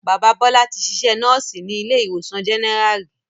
Bàbá Bọ́lá tí sisẹ́ Núùsì ní ilé ìwòsàn General ri